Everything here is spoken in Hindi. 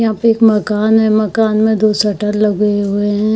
यहाँ पे एक मकान है | मकान में दो शटर लगे हुए हैं।